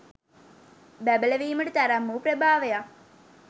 බැබලවීමට තරම් වූ ප්‍රභාවයක්